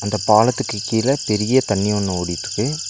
இந்த பாலத்துக்கு கீழ பெரிய தண்ணி ஒன்னு ஓடிட்ருக்கு.